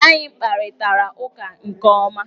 Anyị kparịtara ụka nke ọma.